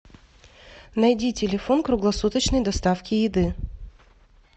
найди телефон круглосуточной доставки еды